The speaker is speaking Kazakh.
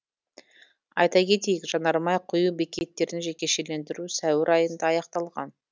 айта кетейік жанармай құю бекеттерін жекешелендіру сәуір айында аяқталған